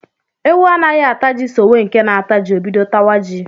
Ewu anaghị ata ji sowe nke na-ata ji, o bido tawa ji